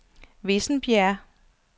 Vissenbjerg